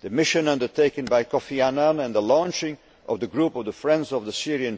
the mission undertaken by Kofi Annan and the launching of the Group of the Friends of the Syrian